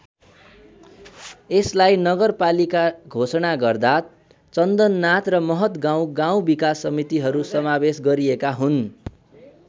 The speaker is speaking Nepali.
यसलाई नगरपालिका घोषणा गर्दा चन्दननाथ र महतगाउँ गाउँ विकास समितिहरू समावेश गरिएका हुन्।